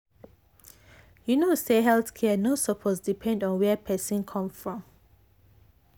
you know say health care no suppose depend on where person come from.